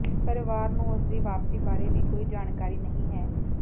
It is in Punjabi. ਪਰਿਵਾਰ ਨੂੰ ਉਸਦੀ ਵਾਪਸੀ ਬਾਰੇ ਵੀ ਕੋਈ ਜਾਣਕਾਰੀ ਨਹੀਂ ਹੈ